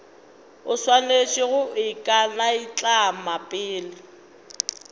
o swanetše go ikanaitlama pele